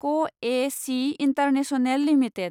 क A C international limited